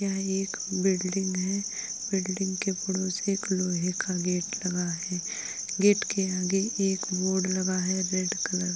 यह एक बिल्डिंग है बिल्डिंग के पड़ोस एक लोहे का गेट लगा है गेट के आगे एक बोर्ड लगा है रेड कलर --